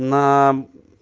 на